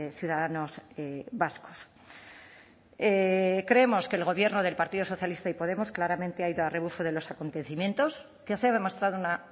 ciudadanos vascos creemos que el gobierno del partido socialista y podemos claramente ha ido al rebufo de los acontecimientos que se ha demostrado una